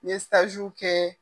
N ye sajiw kɛ